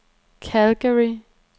Calgary